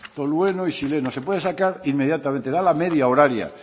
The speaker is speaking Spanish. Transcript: tolueno y xileno se pueda sacar inmediatamente da la media horaria